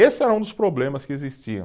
Esse era um dos problemas que existiam.